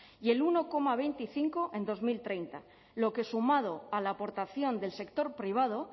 y el uno coma veinticinco en dos mil treinta lo que sumado a la aportación del sector privado